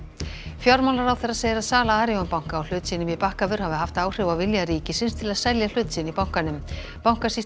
fjármálaráðherra segir að sala Arion banka á hlut sínum í Bakkavör hafi haft áhrif á vilja ríkisins til að selja hlut sinn í bankanum bankasýsla